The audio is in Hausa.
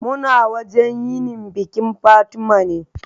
Muna wajan yinin bikin Fatima